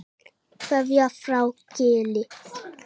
Ég gæti minna, fyrir þig.